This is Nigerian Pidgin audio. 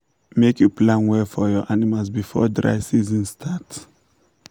make you plan well for your animals before dry season start